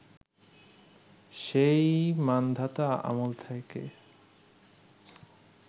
সেই মান্ধাতা আমল থেকে